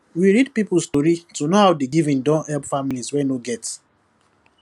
we read people story to know how di giving don help families wey no get